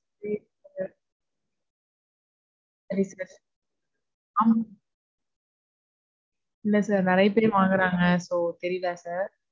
இல்ல sir. சரி sir. ஆமா sir. இல்ல sir. நெறைய பேரு இங்க வாங்குறாங்க, so தெரில sir.